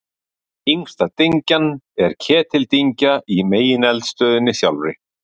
Yngsta dyngjan er Ketildyngja í megineldstöðinni sjálfri.